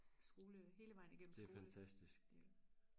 skole hele vejen igennem skole